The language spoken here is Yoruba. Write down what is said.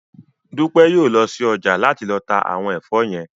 Dúpẹ́ yóò lọ sí ọjà náà láti lọ ta àwọn ẹ̀fọ́ yẹn